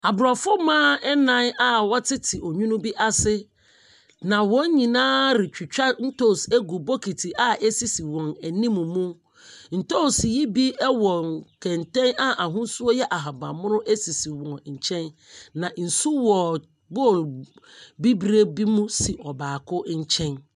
Aborɔfo mmaa nnan wɔtete onwunu bi ase, na wɔn nyina retwitwa ntoosi gu bokiti a ɛsisi wɔn anim mu. Ntoosi yi bi wɔ nkenten a ahosuo yɛ ahabammono sisi wɔn nkyɛn, na nsu wɔ bowl bibire mu si ɔbaako nkyɛn.